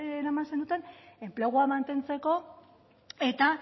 eraman zenuten enplegua mantentzeko eta